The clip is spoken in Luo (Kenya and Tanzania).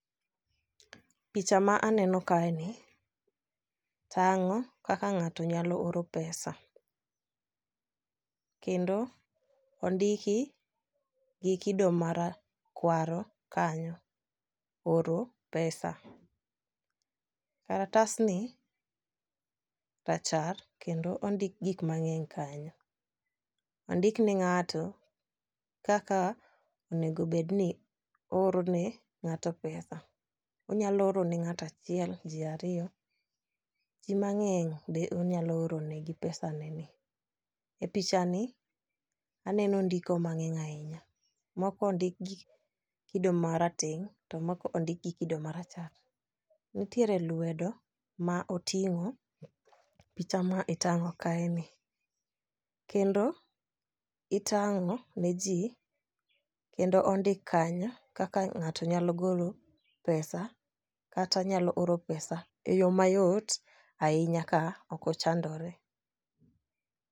picha ma aneno kae ni tang'o kaka ng'ato nyalo oro pesa. Kendo ondiki gi kido marakwaro kanyo oro pesa. Karatas ni rachar kendo ondik gik mang'eny kanyo, ondik ni ng'ato kaka onego bed ni ooro ne ng'ato pesa. Onyalo oro ne ng'ata chiel , jii ariyo, jii mang'eny be onyalo oro negi pesa neni. E picha ni aneno ndiko mang'eny ahinya moko odik gi kido marateng' to moko ondik gi kido marachar. Nitiere lwedo ma oting'o picha ma itang'o kae ni. Kendo itang'o ne jii kendo ondik kanyo kaka ng'ato nyalo golo pesa kata nyalo oro pesa e yoo mayot ahinya ka ok ochandore.